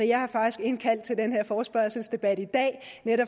jeg har faktisk indkaldt til den her forespørgselsdebat i dag